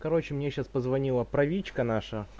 короче мне сейчас позвонила правичка наша